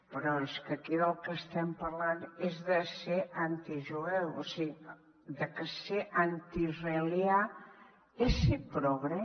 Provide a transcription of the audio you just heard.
però és que aquí del que estem parlant és de ser antijueu o sigui de que ser antiisraelià és ser progre